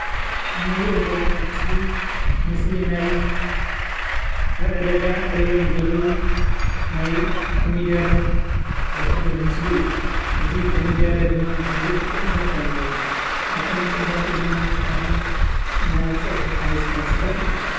ንሪኦ ዘለና ምስሊ ምስሊ ናይ ኣብ ዕዳጋ ቀሪቦም ዘለዉ ናይ ኮሚደረ ዝሕብር ምስሊ እዩ፡፡ እዚ ኮሚደረ ድማ ብዙሕ ጥቕምታት ኣለዉዎ፡፡ ካብቶም ጥቕምታቱ ድማ ሓደ ናብ ፀብሒ ሓዊስካ ዝስራሕ እዩ፡፡